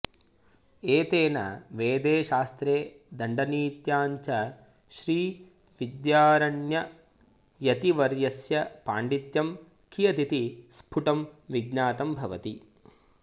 एतेन वेदे शास्त्रे दण्डनीत्यां च श्रीविद्यारण्ययतिवर्यस्य पाण्डित्यं कियदिति स्फुटं विज्ञातं भवति